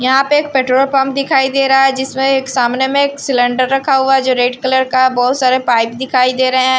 यहां पे एक पेट्रोल पंप दिखाई दे रहा है जिसमें एक सामने में एक सिलेंडर रखा हुआ जो रेड कलर का बहुत सारे पाइप दिखाई दे रहे हैं।